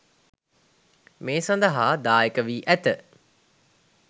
මේ සදහා දායක වී ඇත.